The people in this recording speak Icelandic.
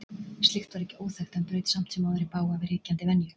Slíkt var ekki óþekkt en braut samt sem áður í bága við ríkjandi venju.